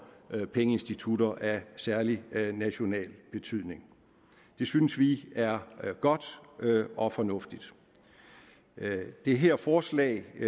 pengeinstitutter af særlig national betydning det synes vi er godt og fornuftigt det her forslag